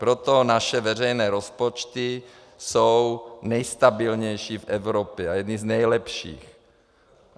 Proto naše veřejné rozpočty jsou nejstabilnější v Evropě a jedny z nejlepších.